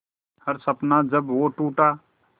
हर सपना जब वो टूटा